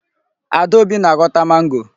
Adaobi na-ahọta mango.